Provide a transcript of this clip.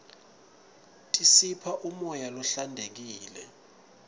tisipha umoya lohlantekile